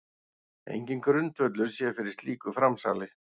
Enginn grundvöllur sé fyrir slíku framsali